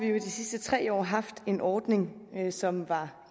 jo i de sidste tre år haft en ordning som var